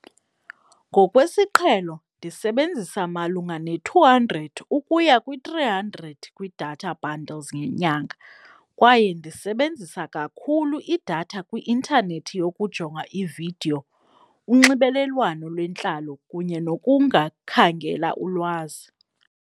Ngokwesiqhelo ndisebenzisa malunga ne-two hundred ukuya kwi-three hundred kwi-data bundles ngenyanga kwaye ndisebenzisa kakhulu idatha kwi-intanethi yokujonga iividiyo, unxibelelwano lwentlalo kunye nokukhangela ulwazi.